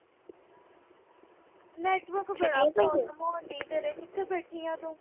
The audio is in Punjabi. network ਦੀ ਬੜੀ problem ਆਉਣ ਡਈ ਆ ਤੇਰੇ। ਕਿੱਥੇ ਬੈਠੀ ਆਂ ਤੂੰ